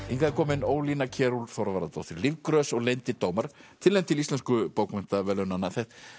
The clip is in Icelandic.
hingað er komin Ólína Kjerúlf Þorvarðardóttir Lífgrös og leyndir dómar tilnefnd til Íslensku bókmenntaverðlaunanna